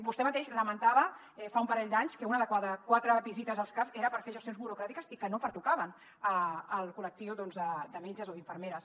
vostè mateix lamentava fa un parell d’anys que una de cada quatre visites als caps era per fer gestions burocràtiques i que no pertocaven al col·lectiu doncs de metges o d’infermeres